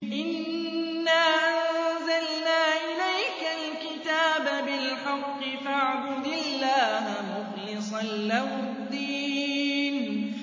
إِنَّا أَنزَلْنَا إِلَيْكَ الْكِتَابَ بِالْحَقِّ فَاعْبُدِ اللَّهَ مُخْلِصًا لَّهُ الدِّينَ